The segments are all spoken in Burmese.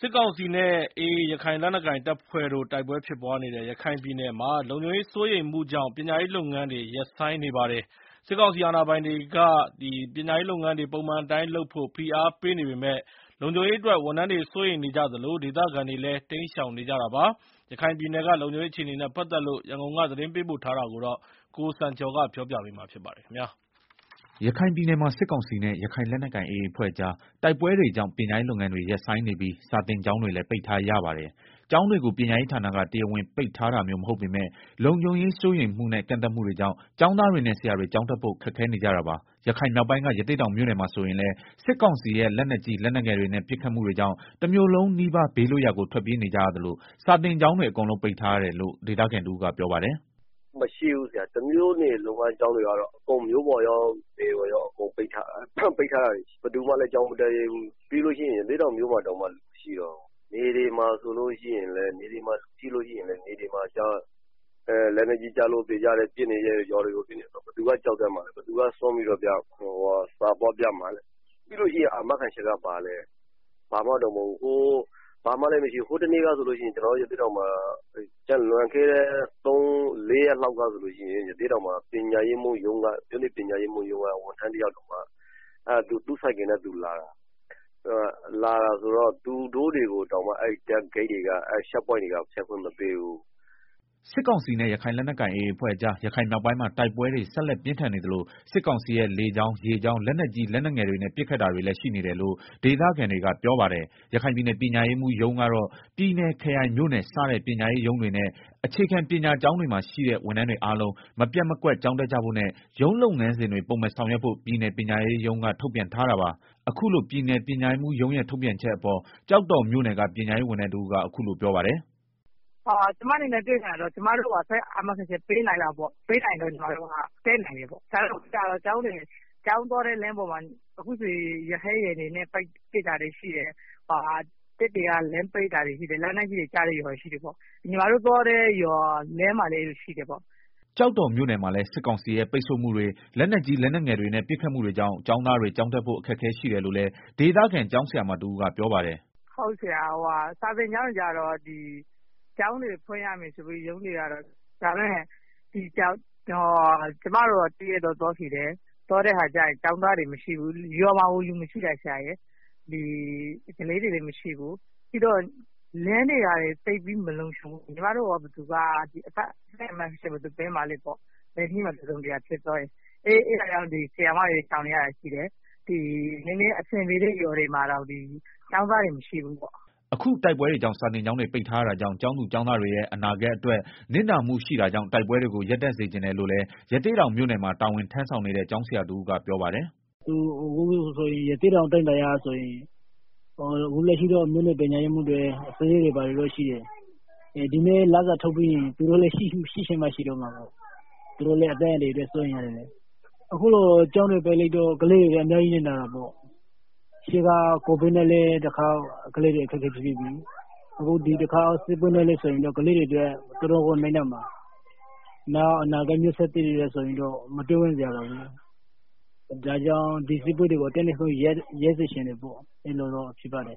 စစ်ကောင်စီနဲ့ AA ရခိုင်လက်နက်ကိုင် တပ်ဖွဲ့တို့ တိုက်ပွဲဖြစ်ပွားနေတဲ့ ရခိုင်ပြည်နယ်မှာ လုံခြုံရေးစိုးရိမ်မှုကြောင့် ပညာရေးလုပ်ငန်းတွေ ရပ်ဆိုင်းနေပါတယ်။ စစ်ကောင်စီ အာဏာပိုင်တွေက ပညာရေးလုပ်ငန်းတွေ ပုံမှန်အတိုင်းလုပ်ဖို့ ဖိအားပေးနေပေမဲ့ လုံခြုံရေးအတွက် ဝန်ထမ်းတွေ စိုးရိမ်နေကြသလို၊ ဒေသခံတွေလည်း တိမ်းရှောင်နေကြတာပါ။ ရခိုင်ပြည်နယ်က လုံခြုံရေးအခြေအနေတွေနဲ့ ပတ်သက်လို့ ရန်ကုန်က သတင်းပေးပို့ ထားတာကို ကိုစံကျော် ပြောပြပေးပါမယ်။ ရခိုင်ပြည်နယ်မှာ စစ်ကောင်စီနဲ့ ရခိုင်လက်နက်ကိုင် AA အဖွဲ့ကြား တိုက်ပွဲတွေကြောင့် ပညာရေးလုပ်ငန်းတွေ ရပ်ဆိုင်းနေပြီး စာသင်ကျောင်းတွေလည်း ပိတ်ထားရပါတယ်။ ကျောင်းတွေကို ပညာရေးဌာနက တရားဝင်ပိတ်ထားတာမျိုးမဟုတ်ပေမဲ့ လုံခြုံရေးစိုးရိမ်မှုနဲ့ ကန့်သတ်မှုတွေကြောင့် ကျောင်းသားတွေနဲ့ ဆရာတွေ ကျောင်းတက်ဖို့ခက်ခဲနေကြတာပါ။ ရခိုင်မြောက်ပိုင်းက ရသေ့တောင်မြို့နယ်မှာဆိုရင်လည်း စစ်ကောင်စီရဲ့ လက်နက်ကြီး လက်နက်ငယ်တွေနဲ့ ပစ်ခတ်မှုတွေကြောင့် တမြို့လုံးနီးပါး ဘေးလွတ်ရာကို ထွက်ပြေးနေကြရသလို စာသင်ကျောင်းတွေအကုန်လုံးပိတ်ထားရတယ်လို့ ဒေသခံတဦးကပြောပါတယ်။ “ တမြို့နယ်လုံးကကျောင်းတွေရော မြို့ပေါ်ရော နယ်ရော အကုန်လုံးက ကျောင်းတွေကို ပိတ်ထားရတယ်၊ ဘယ်သူမှလည်း ကျောင်းမတက်ရဲဘူး၊ ပြီးရင် ရသေ့တောင် မြို့ပေါ်မှာ တောင်မှ လူမရှိတော့ဘူး။ နယ်တွေမှာလည်း လက်နက်ကြီးကျလို့သေကြတယ် ပစ်နေကြ တယ်ဆိုတော့ ဘယ်သူက ကျောင်းတက်မှာလည်း ဘယ်သူက စွန့်ပြီးတော့ ကျောင်းသွားပြရဲ မှာလည်းပြီးတော့ ဘာအာမခံချက်မှလည်းမရှိဘူး ဟိုတနေ့ကဆိုရင်လည်း ရသေ့တောင်မြို့ နယ် ပညာရေးမှူးရုံးက ဝန်ထမ်းတယောက် သူ့ဆိုင်ကယ်နဲ့သူလာတာ သူတို့ကိုတောင်မှ အဲဒီ စစ်ဆေးရေးဂိတ်တွေက ဖြတ်ခွင့်မပေးဘူး။ ” စစ်ကောင်စီနဲ့ ရခိုင်လက်နက်ကိုင်AAအဖွဲ့ကြား ရခိုင်မြောက်ပိုင်းမှာ တိုက်ပွဲတွေ ဆက်လက် ပြင်းထန်နေသလို စစ်ကောင်စီရဲ့ လေကြောင်း ရေကြောင်း လက်နက်ကြီးလက်နက်ငယ်တွေနဲ့ ပစ်ခတ်တာတွေလည်း ရှိနေတယ်လို့ ဒေသခံတွေက ပြောပါတယ်။ ရခိုင်ပြည်နယ် ပညာရေးမှူးရုံးကတော့ ပြည်နယ်၊ ခရိုင် မြို့နယ်စတဲ့ ပညာရေးရုံးတွေနဲ့ အခြေခံပညာကျောင်းတွေမှာ ရှိတဲ့ ဝန်ထမ်းတွေအားလုံး မပျက်မကွက် ကျောင်းတက်ကြဖို့နဲ့ ရုံးလုပ်ငန်းစဉ်တွေပုံမှန်ဆောင်ရွက်ဖို့ ပြည်နယ်ပညာရေးမှူးရုံး က ထုတ်ပြန်ထားတာပါ။ အခုလို ပြည်နယ်ပညာရေးမှူးရုံးရဲ့ထုတ်ပြန်ချက်အပေါ် ကျောက်တော်မြို့နယ် ကပညာရေး ဝန်ထမ်းတဦးကအခုလိုပြောပါတယ်။ “ ကျမတို့ပြောချင်တာက ကျမတို့ကို အသက်အာမခံချက်ပေးနိုင်လား ပေးနိုင်ရင်တော့ ကျမတို့ တက်နိုင်တယ်၊ နောက်တခုကတော့ ကျောင်းသွားတဲ့ လမ်းတွေမှာ ရဟတ်ယာဉ်တွေနဲ့ ပစ် တာတွေရှိတယ်။ တပ်တွေက လမ်းပိတ်တာတွေရှိတယ် လက်နက်ကြီးတွေ ကျတဲ့ရွာတွေ ရှိ တယ်ပေါ့၊ ညီမတို့သွားတဲ့ ရွာလမ်းမှာလည်းရှိတယ်ပေါ့” ကျောက်တော်မြို့နယ်မှာလည်း စစ်ကောင်စီရဲ့ ပိတ်ဆို့မှုတွေ လက်နက်ကြီး လက်နက်ငယ်တွေနဲ့ ပစ်ခတ်မှုတွေကြောင့် ကျောင်းသားတွေ ကျောင်းတက်ဖို့ အခက်အခဲရှိတယ်လို့လည်း ဒေသခံ ကျောင်းဆရာမတဦးကပြောပါတယ်။ “ စာသင်ကျောင်းတွေကတော့ ကျောင်းတွေဖွင့်ရမယ်ဆိုပြီးတော့ ရုံးတွေက ပြောလာ တာရှိတယ်။ဒါပေမယ့် ကျမတို့ တရက်တော့ သွားခဲ့တယ် ကျောင်းသားတွေမရှိဘူး ရွာမှာကို လူမရှိတာ။ ကလေးတွေလည်းမရှိဘူး ပြီးတော့ လမ်းတွေကလည်း မလုံခြုံဘူး၊ အသက် အာမခံချက်ဘယ်သူပေးမှာလဲပေါ့၊ လမ်းတစုံတရာဖြစ်သွားရင် အဲတာကြောင့် ဆရာမတွေ ရှောင်နေရတာရှိတယ်၊ နည်းနည်းအဆင်ပြေတဲ့ ရွာတွေမှာတောင် ကျောင်းသားတွေ မရှိဘူးပေါ့။” အခု တိုက်ပွဲတွေကြောင့် စာသင်ကျောင်းတွေပိတ်ထားရတာကြောင့် ကျောင်းသူ ကျောင်း တွေရဲ့ အနာဂတ်အတွက် နစ်နာမှုရှိတာကြောင့် တိုက်ပွဲတွေကို ရပ်တန့်စေချင် တယ်လို့လည်း ရသေ့တောင်မြို့နယ်မှာ တာဝန်ထမ်းဆောင်နေတဲ့ ကျောင်းဆရာ တဦးက ပြောပါတယ်။ “ ရသေ့တောင် အတိုင်းအတာအရဆိုရင် အခုလက်ရှိတော့ မြို့နယ်ပညာရေးမှူးတွေ ဘာတွေရှိတယ်၊ ဒီနေ့ လစာထုတ်ပြီးရင် သူတို့လည်း ရှိချင်မှရှိတော့မယ် သူတို့လည်း အသက်အန္တရာယ်အရ စိုးရိမ်ရတယ်လေ၊ အခုလို ကျောင်းတွေ ပိတ်ထားရတော့ ကလေး တွေအတွက် အများကြီးနစ်နာတာပေါ့၊ ကိုဗစ်နဲ့လည်းတခေါက် ကလေးတွေ အခက် အခဲဖြစ်ပြီးပြီ အခုဒီတခေါက် စစ်ပွဲနဲ့ဆိုရင်တော့ ကလေးတွေလည်း တော်တော်ကို နစ်နာမှာ အနာဂတ်မျိုးဆက်သစ်တွေအတွက် မတွေးဝံ့စရာပါပဲ ဒါ့ကြောင့် ဒီတိုက်ပွဲတွေကို အတတ် နိုင်ဆုံး ရပ်စေချင်တယ်ပေါ့။”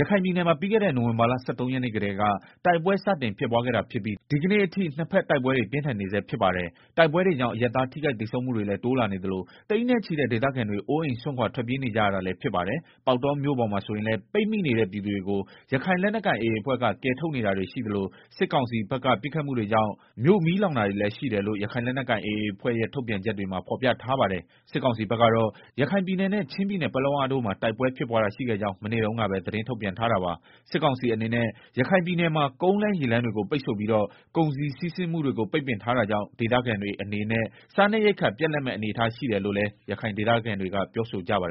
ရခိုင်ပြည်နယ်မှာ ပြီးခဲ့တဲ့ နိုင်ဝင်ဘာလ ၁၃ရက်နေ့ကတည်းက စတင်တိုက်ပွဲ ဖြစ်ပွားခဲ့ တာဖြစ်ပြီး ဒီကနေ့ အထိနှစ်ဖက်တိုက်ပွဲတွေ ပြင်းထန်နေဆဲ ဖြစ်ပါတယ်။ တိုက်ပွဲတွေကြောင့် အရပ်သားထိခိုက်သေဆုံးမှုတွေလည်း တိုးလာနေသလို သိန်းနဲ့ ချီတဲ့ ဒေသခံတွေ အိုးအိမ်စွန့်ခွာထွက်ပြေးနေကြရတာလည်းဖြစ်ပါတယ်။ ပေါက်တောမြို့ပေါ်မှာဆိုရင်လည်း ပိတ်မိနေတဲ့ ပြည်သူတွေကို ရခိုင်လက်နက်ကိုင်AAအဖွဲ့က ကယ်ထုတ်နေတာတွေရှိသလို စစ်ကောင်စီဖက်က ပစ်ခတ်မှုတွေကြောင့် မြို့မီးလောင်တာတွေ လည်းရှိ တယ်လို့ ရခိုင်လက်နက်ကိုင်AAအဖွဲ့ရဲ့ ထုတ်ပြန်ချက် မှာဖော်ပြထားပါတယ်။ စစ်ကောင်စီဘက်ကတော့ ရခိုင်ပြည်နယ်နဲ့ ချင်းပြည်နယ် ပလက်ဝတို့မှာ တိုက်ပွဲဖြစ်ပွားတာရှိခဲ့ကြောင်း မနေ့တုန်းကပဲ သတင်းထုတ်ပြန်ထားတာပါ။စစ်ကောင်စီအနေနဲ့ ရခိုင်ပြည်နယ်မှာ ကုန်လမ်းရေလမ်းတွေကို ပိတ်ဆို့ပြီးတော့ ကုန်စည်စီးဆင်းမှုတွေကို ပိတ်ပင်ထားတာကြောင့် ဒေသခံတွေအနေနဲ့ စားနပ်ရိက္ခာပြတ် လပ်မယ့်အနေအထားရှိနေတယ်လို့လည်း ရခိုင်ဒေသခံတွေကပြောဆိုကြပါတယ်